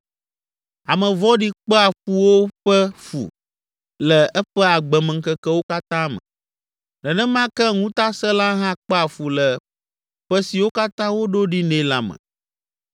Ame vɔ̃ɖi kpea fuwo ƒe fu le eƒe agbemeŋkekewo katã me, nenema ke ŋutasẽla hã kpea fu le ƒe siwo katã woɖo ɖi nɛ la me.